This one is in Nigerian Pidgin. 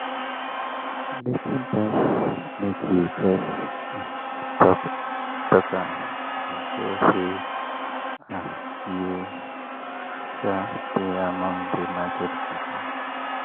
greeting pass make you jus um talk am e show say um you de among the market people.